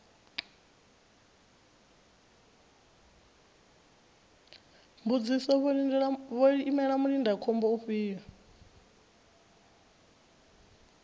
mbudziso vho imela mulindakhombo ufhio